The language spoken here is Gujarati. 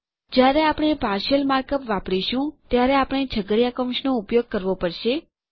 જ્યારે આપણે પાર્શિયલ માર્ક અપ વાપરીશું ત્યારે આપણે છગડીયા કૌંસનો ઉપયોગ કરવો પડશે